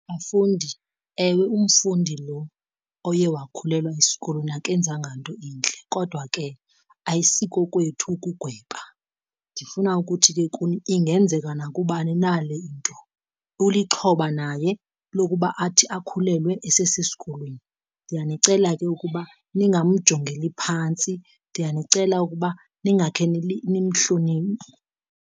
Bafundi, ewe umfundi loo oye wakhulelwa esikolweni akenzanga nto intle kodwa ke ayisiko kwethu ukugweba. Ndifuna ukuthi ke kuni ingenzeka nakubani na le into, ulixhoba naye lokuba athi akhulelwe esesesikolweni. Ndiyanicela ke ukuba ningamjongeli phantsi, ndiyanicela ukuba ndingakhe , nimhloniphe.